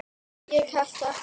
Ég ætlaði ekki að.